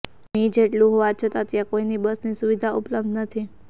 મી જેટલું હોવાછતાં ત્યાં કોઈ બસની સુવિધા ઉપલબ્ધ નથી